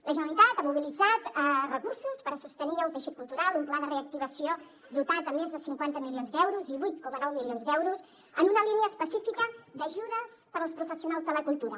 la generalitat ha mobilitzat recursos per sostenir el teixit cultural un pla de reactivació dotat amb més de cinquanta milions d’euros i vuit coma nou milions d’euros en una línia específica d’ajudes per als professionals de la cultura